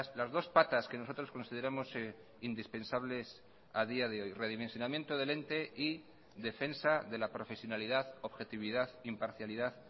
las dos patas que nosotros consideramos indispensables a día de hoy redimensionamiento del ente y defensa de la profesionalidad objetividad imparcialidad